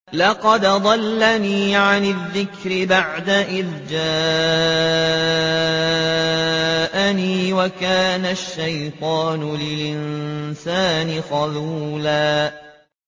لَّقَدْ أَضَلَّنِي عَنِ الذِّكْرِ بَعْدَ إِذْ جَاءَنِي ۗ وَكَانَ الشَّيْطَانُ لِلْإِنسَانِ خَذُولًا